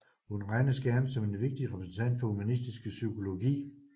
Hun regnes gerne som en vigtig repræsentant for humanistisk psykologi